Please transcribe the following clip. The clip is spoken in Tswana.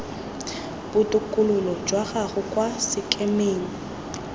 botokololo jwa gago kwa sekemeng